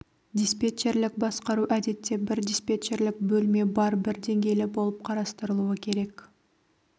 диспетчерлік басқару әдетте бір диспетчерлік бөлме бар бір деңгейлі болып қарастырылуы керек